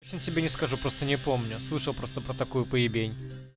всень тебе не скажу просто не помню слышал просто по такую поебень